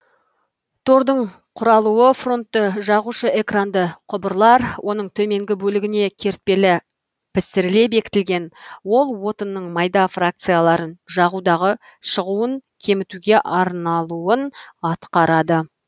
тордың құралуы фронтты жағушы экранды құбырлар оның төменгі бөлігіне кертпелі пісіріле бекітілген ол отынның майда фракцияларын жағудағы шығуын кемітуге арналуын атқарады